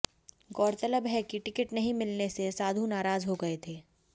गौरतलब है कि टिकट नहीं मिलने से साधु नाराज हो गए थे